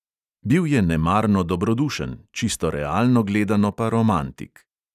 Bil je nemarno dobrodušen, čisto realno gledano pa romantik.